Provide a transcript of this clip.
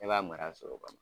Ne b'a mara sogo ka ma